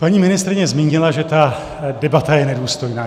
Paní ministryně zmínila, že ta debata je nedůstojná.